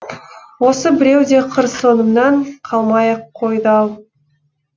осы біреу де қыр соңымнан қалмай ақ қойды ау